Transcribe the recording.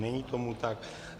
Není tomu tak.